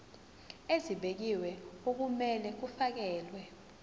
ezibekiwe okumele kufakelwe